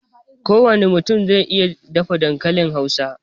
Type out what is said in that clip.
Ko wane mutum zai iya dafa dankalin Hausa